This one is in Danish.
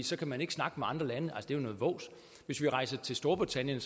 så kan man ikke snakke med andre lande er jo noget vås hvis vi rejser til storbritannien